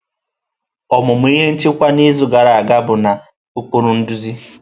Ọmụmụ ihe nchịkwa n'izu gara aga bụ na ụkpụrụ nduzi.